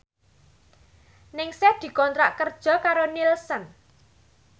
Ningsih dikontrak kerja karo Nielsen